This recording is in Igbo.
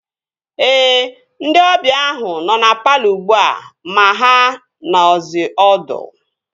Ee, ndị ọbịa ahu nọ na palọ ugbua ma ha nọzi ọdụ